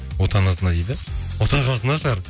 отанасына дейді отағасына шығар